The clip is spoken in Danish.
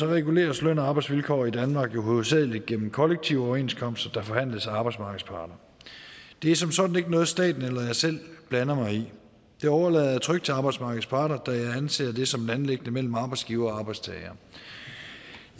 reguleres løn og arbejdsvilkår i danmark jo hovedsagelig gennem kollektive overenskomster der forhandles af arbejdsmarkedets parter det er som sådan ikke noget staten eller jeg selv blander mig i det overlader jeg trygt til arbejdsmarkedets parter da jeg anser det som et anliggende mellem arbejdsgivere og arbejdstagere